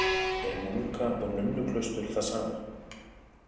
Er munka- og nunnuklaustur það sama?